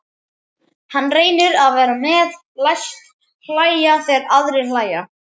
Hann reynir að vera með, læst hlæja þegar aðrir hlæja.